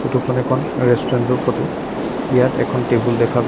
photo খন এখন restaurant ৰ ফটো ইয়াত এখন টেবুল দেখা গৈ--